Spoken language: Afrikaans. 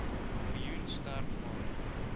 miljoen sterk maak